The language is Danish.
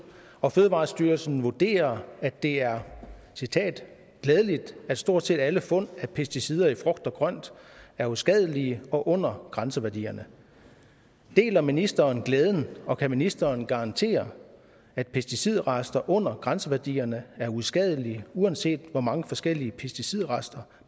og fødevarestyrelsen vurderer at det er glædeligt at stort set alle fund af pesticider i frugt og grønt er uskadelige og under grænseværdierne deler ministeren glæden og kan ministeren garantere at pesticidrester under grænseværdierne er uskadelige uanset hvor mange forskellige pesticidrester